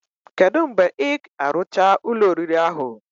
Kedu mgbe ig arucha Ụlọ oriri ahu?